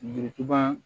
Birintuba